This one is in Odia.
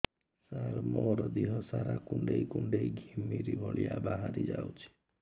ସାର ମୋର ଦିହ ସାରା କୁଣ୍ଡେଇ କୁଣ୍ଡେଇ ଘିମିରି ଭଳିଆ ବାହାରି ଯାଉଛି